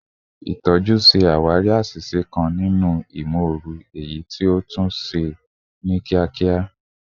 Itọju ṣe awari aṣiṣe kan ninu imooru, eyiti o tun ṣe ni kiakia